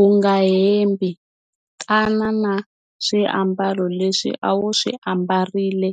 U nga hembi, tana na swiambalo leswi a wu swi ambarile